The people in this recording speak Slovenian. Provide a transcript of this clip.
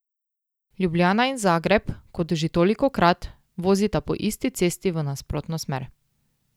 Ljubljana in Zagreb, kot že tolikokrat, vozita po isti cesti v nasprotno smer.